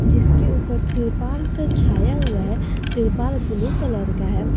जिसके ऊपर तिरपाल से छाया हुआ हैं तिरपाल ब्ल्यू कलर का है।